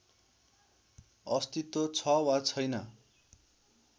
अस्तित्व छ वा छैन